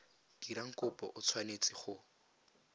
dirang kopo o tshwanetse go